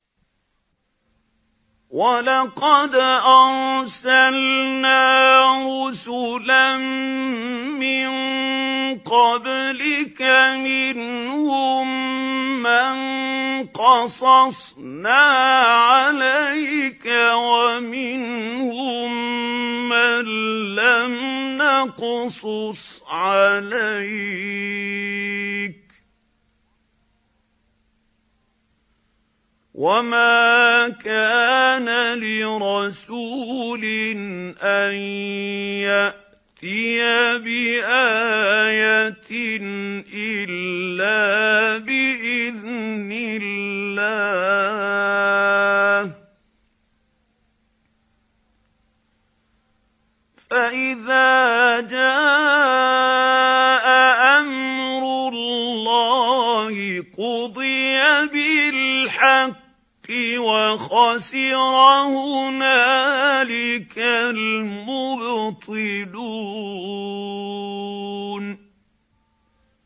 وَلَقَدْ أَرْسَلْنَا رُسُلًا مِّن قَبْلِكَ مِنْهُم مَّن قَصَصْنَا عَلَيْكَ وَمِنْهُم مَّن لَّمْ نَقْصُصْ عَلَيْكَ ۗ وَمَا كَانَ لِرَسُولٍ أَن يَأْتِيَ بِآيَةٍ إِلَّا بِإِذْنِ اللَّهِ ۚ فَإِذَا جَاءَ أَمْرُ اللَّهِ قُضِيَ بِالْحَقِّ وَخَسِرَ هُنَالِكَ الْمُبْطِلُونَ